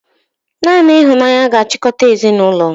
Naanị ịhụnanya ga-achịkọta ezinụlọ